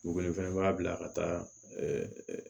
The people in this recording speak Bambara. Dugukolo in fɛnɛ b'a bila ka taa